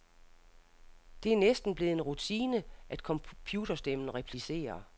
Det er næsten blevet en rutine, at computerstemmen replicerer.